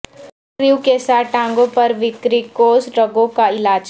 ٹریوں کے ساتھ ٹانگوں پر ویریکوس رگوں کا علاج